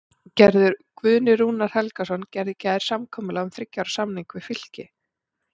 Guðni Rúnar Helgason gerði í gær samkomulag um þriggja ára samning við Fylki.